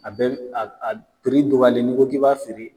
A bɛ a a dɔgɔyalen ni ko ki b'a feere.